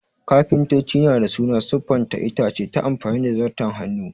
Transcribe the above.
Kafintoci na dā suna siffanta itace ta amfani da Zarton Hannu